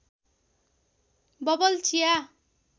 bubble चिया